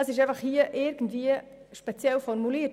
Mit dem «und» ist das hier etwas speziell formuliert.